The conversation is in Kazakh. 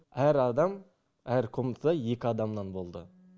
әр адам әр комнатада екі адамнан болды